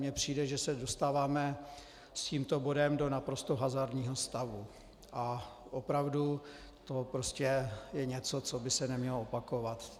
Mně přijde, že se dostáváme s tímto bodem do naprosto hazardního stavu, a opravdu to prostě je něco, co by se nemělo opakovat.